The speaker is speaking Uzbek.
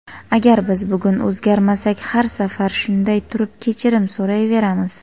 Agar biz bugun o‘zgarmasak har safar shunday turib kechirim so‘rayveramiz.